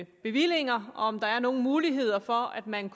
bevillinger og om der er nogle muligheder for at man